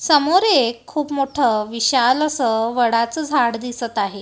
समोर एक खूप मोठं विशाल असं वडाचं झाड दिसत आहे.